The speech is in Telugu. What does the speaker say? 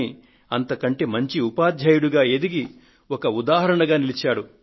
కానీ అంతకంటే మంచి ఉపాధ్యాయుడిగా ఎదిగి ఒక ఉదాహరణగా నిలిచారు